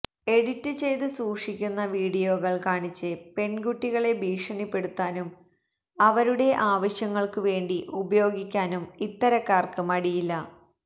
edit ചെയ്തു സൂക്ഷിക്കുന്ന വിഡിയോകൾ കാണിച്ച് പെൺകുട്ടികളെ ഭീഷണിപ്പെടുത്താനും അവരുടെ ആവശ്യങ്ങൾക്കു വേണ്ടി ഉപയോഗിക്കാനും ഇത്തരക്കാർക്ക് മടിയില്ല